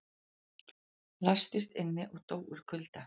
Læstist inni og dó úr kulda